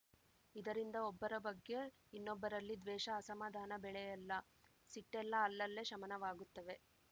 ಇದರಿಂದ ಒಬ್ಬರ ಬಗ್ಗೆ ಇನ್ನೊಬ್ಬರಲ್ಲಿ ದ್ವೇಷ ಅಸಮಾಧಾನ ಬೆಳೆಯಲ್ಲ ಸಿಟ್ಟೆಲ್ಲ ಅಲ್ಲಲ್ಲೇ ಶಮನವಾಗುತ್ತವೆ